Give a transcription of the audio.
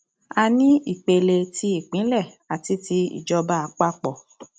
a ní ìpele ti ìpínlẹ àti ti ìjọba àpapọ